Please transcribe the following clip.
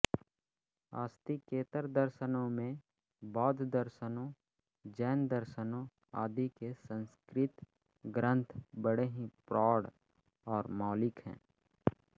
आस्तिकेतर दर्शनों में बौद्धदर्शनों जैनदर्शनों आदि के संस्कृत ग्रंथ बड़े ही प्रौढ़ और मौलिक हैं